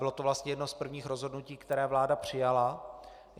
Bylo to vlastně jedno z prvních rozhodnutí, které vláda přijala.